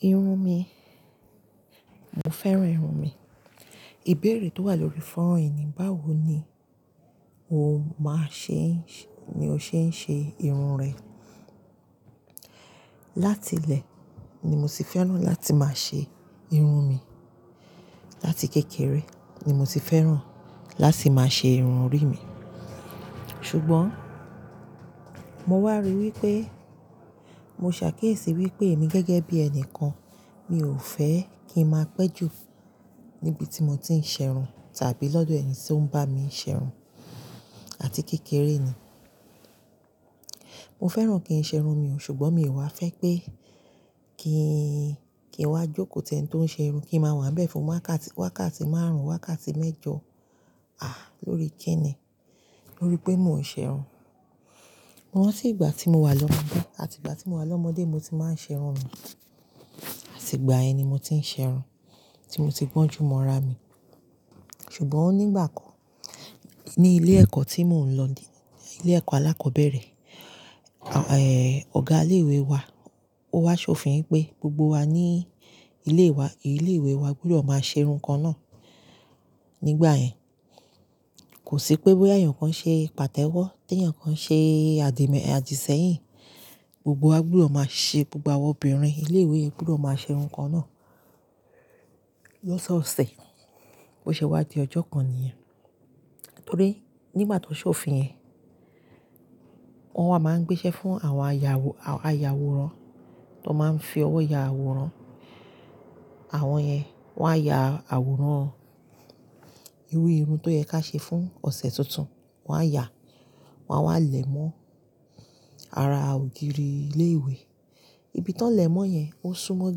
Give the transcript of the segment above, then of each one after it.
Irun mi, mo fẹ́ràn irun mi. Ìbéèrè tó wà lórí fọ́ran yi ni, báwo ni o máa ṣe ń ṣe, ni o ṣe ń ṣe irun rẹ? Látilẹ̀ ni mo ti fẹ́ràn láti máa ṣe irun mi. Láti kékeré ni mo ti fẹ́ràn láti máa ṣe irun orí mi. Ṣùgbọ́n mo wá rí wípé mo ṣàkíyèsí wípé èmi gẹ́gẹ́ bí ẹni kan, mi ò fẹ́ kí n máa pẹ́ jù níbi tí mo ti ń ṣe irun tàbí lọ́dọ̀ ẹni tí ó ń bá mi ṣe irun àti kékeré ni. Mo fẹ́ràn kí n ṣe irun mi o, ṣùgbọ́n mi ò wá fẹ́ pé kí í, kí n wá jókòó tẹ́ ẹni tó ń ṣe irun, kí n máa wà bẹ́ẹ̀ fún wákàtì, wákàtì márùn-ún, wákàtì mẹ́jọ, à lórí kí ni? Nítorí pé mò ń ṣe irun. Mọ́ ranti ígbà tí mo wà lọ́mọdé, àti ìgbà tí mo wà lọ́mọdé ni mo ti máa ń ṣe irun mi. Àti ìgbà yẹn ni mo ti ń ṣe irun, tí mo ti gbọ́n jù mọ́ ara mi. Ṣùgbọ́n nígbà kan, ní ilé ẹ̀kọ́ tí mò ń lọ ní ilé ẹ̀kọ́ alákọ̀ọ́bẹ̀rẹ̀, è, ọ̀gá ilé ìwé wa, ó wá ṣòfin pé gbogbo wa ní ilé wa, ilé ìwé wa gbúdọ̀ máa ṣe irun kan náà. Nígbà yẹn, kò sí pé bóyá èèyàn kan ṣe pàtẹ́wọ́, tí èèyàn kan ṣe àdìsẹ́yìn. Gbogbo wa gbúdọ̀ máa ṣe, gbogbo àwọn obìnrin ilé ìwé gbúdọ̀ máa ṣe irun kan náà. Lọ́sọ̀ọ̀sẹ̀, bó ṣe wá di ọjọ́ kan níyẹn. Nítorí nígbà tó ṣòfin yẹn, wọ́n wa máa ń gbéṣẹ́ fún àwọn ayàwòran, àwọn aya àwòrán, àwọn yẹn wá ya àwòrán irú irun tó yẹ kí a ṣe fún ọ̀sẹ̀ tuntun. Wọ́n á ya, wọ́n á wá lẹ̀ mọ́ ara ògiri ilé ìwé. Ibi tó ń lẹ̀ mọ́ yẹn ó súnmọ́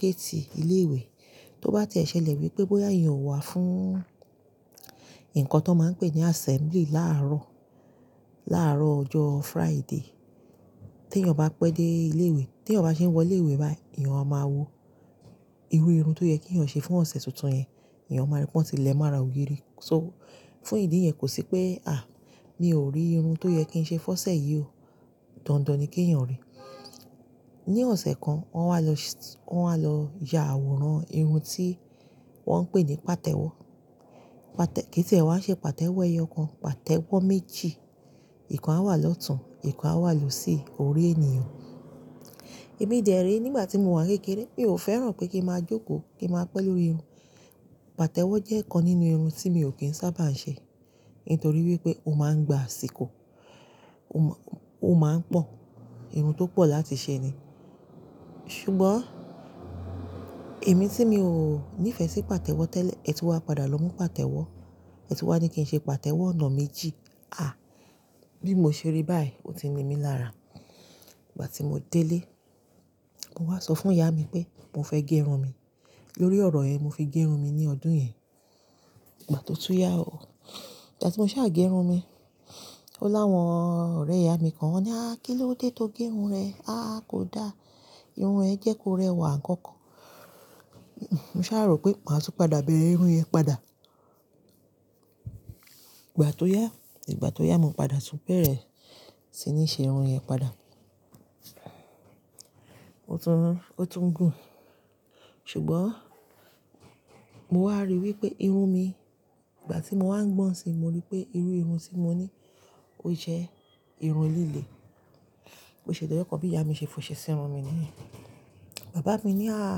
géètì ilé ìwé. Tó bá ti e ṣẹlẹ̀ wípé bóyá èèyàn o wá fún nǹkan tó máa ń pè ní assembly láàárọ̀, láàárọ̀ ọjọ́ Friday, tí èèyàn bá pẹ́ dé ilé ìwé, tí èèyàn bá ṣe ń wọ ilé ìwé báyìí, èèyàn a máa wo irú irun tó yẹ kí èèyàn ṣe fún ọ̀sẹ̀ tuntun yẹn. Ẹ̀yàn máa rí pé wọ́n ti lẹ̀ mọ́ ara ògiri. So fún ìdí yẹn kò sí pé, mi ò rí irun tó yẹ kí n ṣe fọ́ṣẹ yí o. Dandan ni kí èèyàn rí. Ni ọ̀sẹ̀ kan, wọ́n wá lọ, wọ́n wá lọ ya àwòrán irun tí wọ́n ń pè ní pàtẹ́wọ́. Kí tí èwá ṣe pàtẹ́wọ́ ẹ̀yàn kan, pàtẹ́wọ́ méjì. Ìkan á wà lọ́tùn, ìkan á wà lósì orí ènìyàn. Èmi dẹ̀re nígbà tí mo wà kékeré, mi ò fẹ́ràn pé kí n máa jókòó, kí n máa pẹ́ lórí irun. Pàtẹ́wọ́ jẹ́ ọ̀kan nínú irun tí mi ò kí ń sábà ń ṣe, nítorí wípé ó máa ń gba àsìkò. Ó máa ń pọ̀. Irun tó pọ̀ láti ṣe ni. Ṣùgbọ́n èmi tí mi ò nífẹ̀ sí pàtẹ́wọ́ tẹ́lẹ̀, ètùú wa padà lọ mú pàtẹ́wọ́. Ètùú wa ní kí n ṣe pàtẹ́wọ́ ọ̀nà méjì. Bí mo ṣe rí báyìí, ó ti ni mí lára. Ìgbà tí mo dé ilé, mo wá sọ fún ìyá mi pé mo fẹ́ gẹ irun mi. Lórí ọ̀rọ̀ yẹ, mo fi gẹ irun mi ní ọdún yẹn. Ìgbà tó tú yá o. Ìgbà tí mo ṣa à gé irun mi, ó láwọn ọ̀rẹ́ ìyá mi kan wọ́n ni, "àá, kí ló dé tó gẹ irun rẹ? Kò da. Irun ẹ jẹ́ kó rẹwà àkọ́kọ́." Mo sa rò pé ma ń tún padà bẹ̀rẹ̀ irun yẹn padà. Ìgbà tó yá, ìgbà tó yá, mo padà tún bẹ̀rẹ̀ sí ní ṣe irun yẹn padà. Ó tún, ó tún gùn. Ṣùgbọ́n mo wá rí i wípé irun mi, ìgbà tí mo wá ń gbọ́n si, mo rí pé irú irun tí mo ní ó jẹ́ irun líle. Bó ṣe di ojo kan bí ìyá mi ṣe fọṣẹ sí irun mi ni ye. Bàbá mi ní, "àá,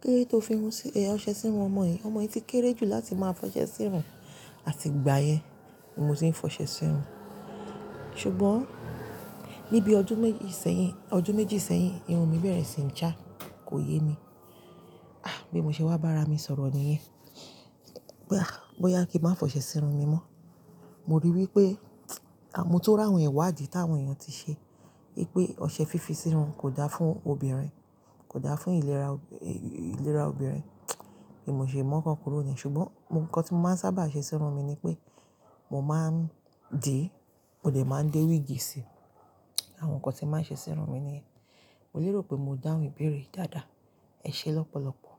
kilode tó fi irun sí, ẹ ọṣẹ sí irun ọmọ yìí. Ọmọ yìí ti kéré jù láti máa fọṣẹ sí irun." Àti ìgbà yẹn ni mo ti ń fọṣẹ sí irun. Ṣùgbọ́n níbi ọdún méjì sẹ́yìn, ọdún méjì sẹ́yìn, irun mi bẹ̀rẹ̀ sí ní já, kò yé mi. Bí mo ṣe wá bá ara mi sọ̀rọ̀ ni yẹn pé, bóyá kí n máa fọṣẹ sí irun mi mọ́. Mo rí i wípé motu ri àwọn iwadi tí àwọn èèyàn ti ṣe. Wípé ọṣẹ fífi sí irun kò da fún obìnrin, kò da fún ìlera, ìlera obìnrin. Bí mo ṣe mu ọkan kúrò ni ye. Ṣùgbọ́n nǹkan tí mo máa ń sábà ṣe sí irun mi ni pé mo máa ń dì, mo dè máa ń dé wíìgì sí i. Àwọn nǹkan tí màá ń ṣe sí irun mi ni ye. Mo lérò pé mo dáhùn ìbéèrè yi dáadáa. Ẹ ṣé lọ́pọ̀lọ́pọ̀.